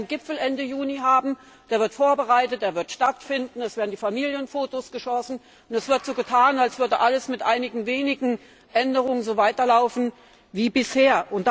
Wir werden Ende Juni einen Gipfel haben, der wird vorbereitet, der wird stattfinden, es werden die Familienfotos geschossen, und es wird so getan, als würde alles mit einigen wenigen Änderungen so weiterlaufen wie bisher.